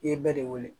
I ye bɛɛ de wele